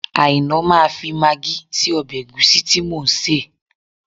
Àìná máa fi magí sí ọbẹ̀ ẹ̀gúsí tí mò ń sè